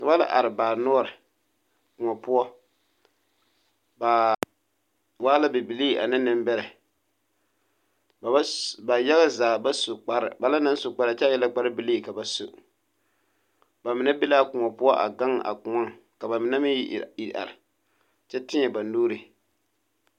Noba la are baanoɔre kōɔ poɔ ba waa la bibilii ane nembɛrɛ ba yaɡa zaa ba su kpare ba mine su la kparɛɛ kyɛ a e la kparbilii ka ba su ba mine be la a kõɔ a ɡaŋ ka ba mine meŋ iri are kyɛ tēɛ o nuuri.